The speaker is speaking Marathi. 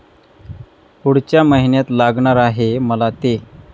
पुढच्या महिन्यात लागणार आहे मला ते.